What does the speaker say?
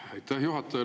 Aitäh, juhataja!